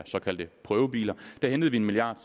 såkaldte prøvebiler der hentede vi en milliard